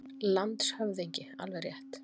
LANDSHÖFÐINGI: Alveg rétt.